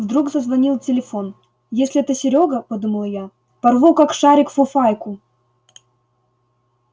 вдруг зазвонил телефон если это серёга подумала я порву как шарик фуфайку